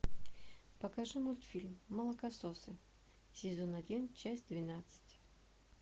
покажи мультфильм молокососы сезон один часть двенадцать